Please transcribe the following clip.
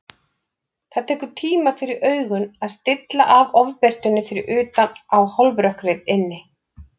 Það tekur tíma fyrir augun að stilla af ofbirtunni fyrir utan á hálfrökkrið inni.